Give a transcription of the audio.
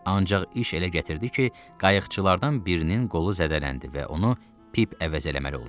Ancaq iş elə gətirdi ki, qayıqçılardan birinin qolu zədələndi və onu Pip əvəz eləməli oldu.